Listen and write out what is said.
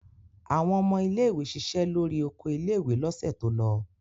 Àwọn ọmọ ilé-ìwé ṣiṣẹ́ lórí oko ilé-ìwé lọ́sẹ̀ tó lọ.